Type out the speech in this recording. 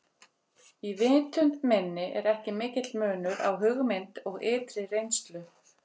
Í vitund minni er ekki mikill munur á hugmynd og ytri reynslu.